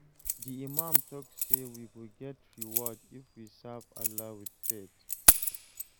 Di imam talk say we go get reward if we serve Allah with faith.